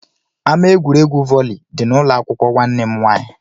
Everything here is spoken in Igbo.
Ama egwuregwu volley dị n'ụlọakwụkwọ nwanne m nwaanyị